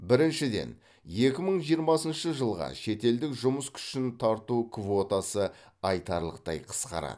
біріншіден екі мың жиырмасыншы жылға шетелдік жұмыс күшін тарту квотасы айтарлықтай қысқарады